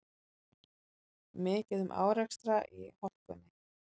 Mikið um árekstra í hálkunni